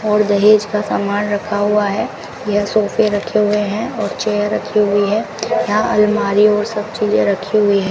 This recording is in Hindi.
और दहेज का सामान रखा हुआ है यह सोफे रखे हुए हैं और चेयर रखी हुई है यहाँ अलमारी और सब चीजे रखी हुई हैं।